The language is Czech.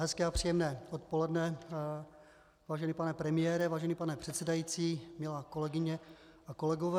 Hezké a příjemné odpoledne, vážený pane premiére, vážený pane předsedající, milé kolegyně, milí kolegové.